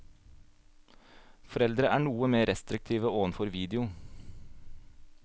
Foreldre er noe mer restriktive overfor video.